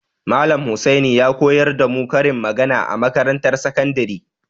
Malam Husaini ya koyar da mu karin magana a makarantar sakandare.